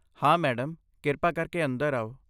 ਹਾਂ, ਮੈਡਮ, ਕਿਰਪਾ ਕਰਕੇ ਅੰਦਰ ਆਓ।